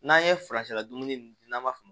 N'an ye ladumuni n'an b'a fɔ